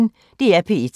DR P1